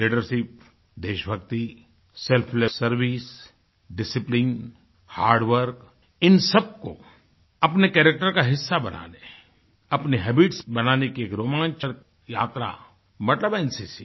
leadership देशभक्ति selfless service discipline hard work इन सबको अपने कैरेक्टर का हिस्सा बना लें अपनी हैबिट्स बनाने की एक रोमांचक यात्रा मतलब एनसीसी